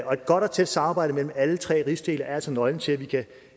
godt og tæt samarbejde med alle tre rigsdele er altså nøglen til at vi